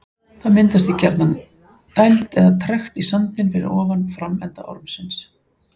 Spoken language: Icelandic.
Það myndast því gjarnan gjarnan dæld eða trekt í sandinn fyrir ofan framenda ormsins.